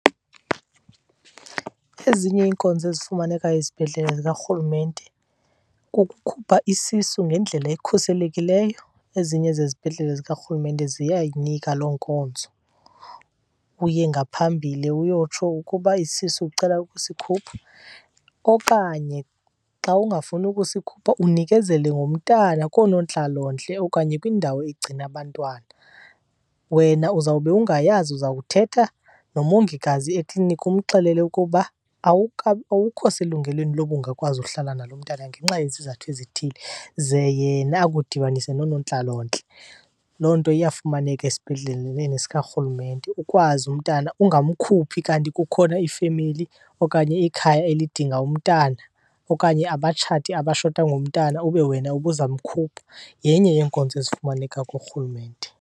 Ezinye iinkonzo ezifumaneka ezibhedlele zikaRhulumente kukukhupha isisu ngendlela ekhuselekileyo. Ezinye zezibhedlele zikaRhulumente ziyayinika loo nkonzo, uye ngaphambili uyotsho ukuba isisu ucela ukusikhupha okanye xa ungafuni ukusikhupha unikezele ngomntana koonontlalontle okanye kwindawo egcina abantwana. Wena uzawube ungayazi, uza kuthetha nomongikazi ekliniki umxelele ukuba awukho selungelweni loba ungakwazi uhlala nalo mntana ngenxa yezizathu ezithile ze yena akudibanise noonontlalontle. Loo nto iyafumaneka esibhedleleni sikaRhulumente, ukwazi umntana ungamkhuphi kanti kukhona ifemeli okanye ikhaya elidinga umntana okanye abatshati abashota ngomntana ube wena ubuzamkhupha. Yenye yeenkonzo ezifumaneka kuRhulumente.